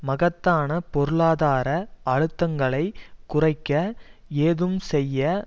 மகத்தான பொருளாதார அழுத்தங்களைக் குறைக்க ஏதும் செய்ய